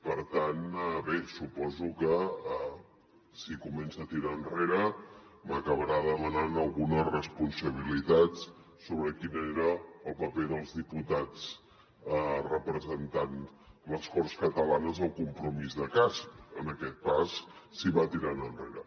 per tant bé suposo que si comença a tirar enrere m’acabarà demanant algunes responsabilitats sobre quin era el paper dels diputats representant les corts catalanes al compromís de casp en aquest pas si va tirant enrere